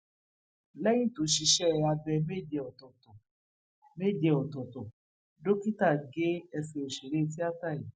lẹyìn tó ṣiṣẹ abẹ méje ọtọọtọ méje ọtọọtọ dókítà gé ẹsẹ òṣèré tíáta yìí